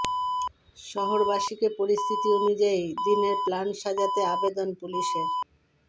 শহরবাসীকে পরিস্থিতি অনুযায়ী দিনের প্ল্যান সাজাতে আবেদন পুলিশের